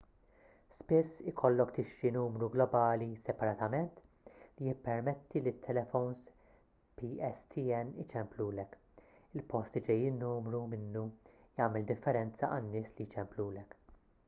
spiss ikollok tixtri numru globali separatament li jippermetti lit-telefowns pstn iċemplulek il-post li ġej in-numru minnu jagħmel differenza għan-nies li jċemplulek